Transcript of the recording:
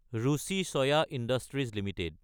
Ruchi soya industries Ltd